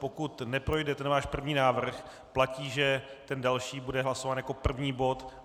Pokud neprojde ten váš první návrh, platí, že ten další bude hlasován jako první bod.